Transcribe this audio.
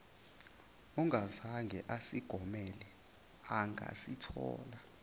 ongazange asigomele angasithola